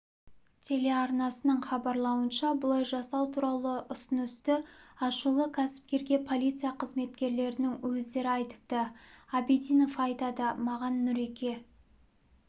телеарнасының хабарлауынша бұлай жасау туралы ұсынысты ашулы кәсіпкерге полиция қызметкерлерінің өздері айтыпты абидинов айтады маған нұреке